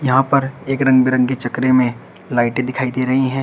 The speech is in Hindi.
यहां पर एक रंग बिरंगे चकरे में लाइटे दिखाई दे रही है।